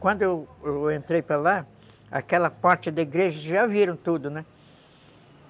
Quando eu entrei para lá, aquela parte da igreja, vocês já viram tudo, né?